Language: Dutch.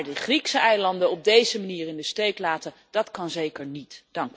Maar de Griekse eilanden op deze manier in de steek laten, dat kan zeker niet.